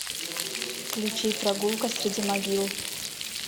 включи прогулка среди могил